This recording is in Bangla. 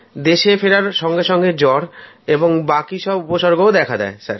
দেশে ফেরার সঙ্গে সঙ্গে জ্বর এবং বাকি সব উপসর্গ দেখা দেয়